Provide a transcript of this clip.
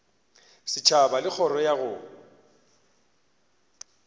setšhaba le kgoro ya go